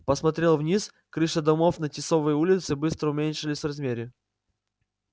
посмотрел вниз крыши домов на тисовой улице быстро уменьшались в размере